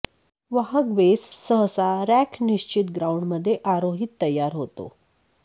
वाहक बेस सहसा रॅक निश्चित ग्राउंड मध्ये आरोहित तयार होतो